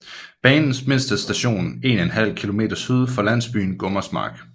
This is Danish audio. Banens mindste station 1½ km syd for landsbyen Gummersmark